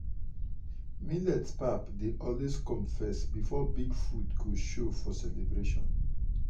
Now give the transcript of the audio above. millet pap dey always come first before big food go show for celebration.